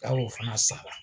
Jaa o fana sara la!